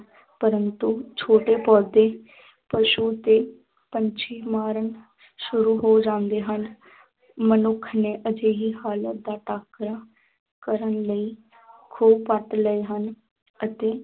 ਪ੍ਰੰਤੂ ਛੋਟੇ ਪੌਦੇ ਪਸੂ ਤੇ ਪੰਛੀ ਮਰਨ ਸ਼ੁਰੂ ਹੋ ਜਾਂਦੇ ਹਨ ਮਨੁੱਖ ਨੇ ਅਜਿਹੀ ਹਾਲਤ ਦਾ ਟਾਕਰਾ ਕਰਨ ਲਈ ਖੂਹ ਪੱਟ ਲਏ ਹਨ ਅਤੇ